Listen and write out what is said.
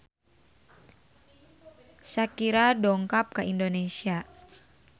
Shakira dongkap ka Indonesia